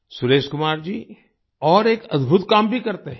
सुरेश कुमार जी और एक अद्भुत काम भी करते हैं